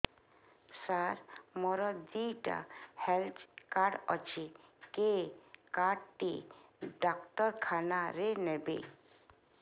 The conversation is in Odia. ସାର ମୋର ଦିଇଟା ହେଲ୍ଥ କାର୍ଡ ଅଛି କେ କାର୍ଡ ଟି ଡାକ୍ତରଖାନା ରେ ନେବେ